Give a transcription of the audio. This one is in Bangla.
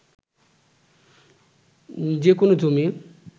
যে কোনো জমি